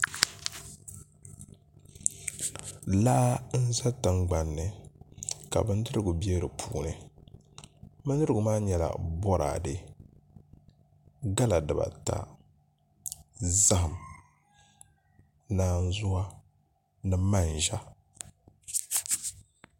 Laa n ʒɛ tingbanni la bindirigu bɛ di puuni bindirigu maa nyɛla boraadɛ gala dibata zaham naanzuwa ni manʒa